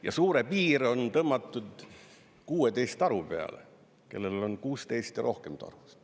Ja suure piir on tõmmatud 16 taru peale: kellel on 16 või rohkem taru.